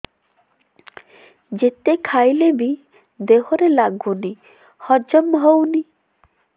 ଯେତେ ଖାଇଲେ ବି ଦେହରେ ଲାଗୁନି ହଜମ ହଉନି